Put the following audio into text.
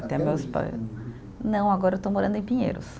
Até meus pais. Não, agora eu estou morando em Pinheiros.